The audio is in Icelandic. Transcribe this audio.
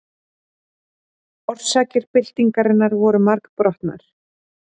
Orsakir byltingarinnar voru margbrotnar.